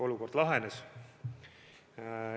Olukord lahenes.